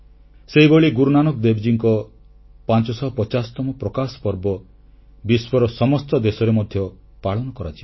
ସେହିଭଳି ଗୁରୁନାନକ ଦେବଙ୍କ 550ତମ ପ୍ରକାଶ ପର୍ବ ବିଶ୍ୱର ସମସ୍ତ ଦେଶରେ ମଧ୍ୟ ପାଳନ କରାଯିବ